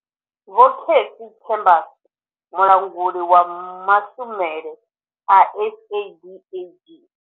Vho Cassey Chambers, mulanguli wa mashumele a SADAG.